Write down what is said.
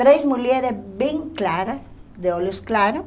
Três mulheres bem claras, de olhos claros,